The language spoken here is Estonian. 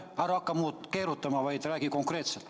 Ära hakka keerutama, vaid räägi konkreetselt.